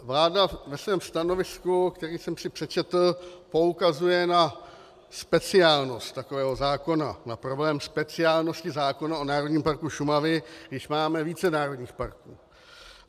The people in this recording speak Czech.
Vláda ve svém stanovisku, které jsem si přečetl, poukazuje na speciálnost takového zákona, na problém speciálnosti zákona o Národním parku Šumava, když máme více národních parků.